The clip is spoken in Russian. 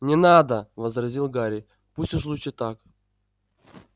не надо возразил гарри пусть уж лучше так